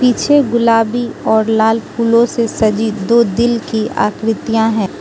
पीछे गुलाबी और लाल फूलों से सजी दो दिल की आकृतियां हैं।